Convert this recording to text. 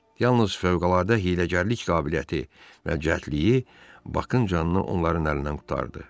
Yalnız fövqəladə hiyləgərlik qabiliyyəti və cəldliyi Bakın canını onların əlindən qurtardı.